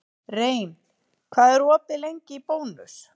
Rein, hvað er opið lengi í Bónus?